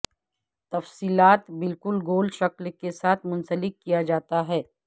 تفصیلات بالکل گول شکل کے ساتھ منسلک کیا جاتا ہے